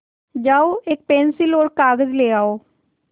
जाओ एक पेन्सिल और कागज़ ले आओ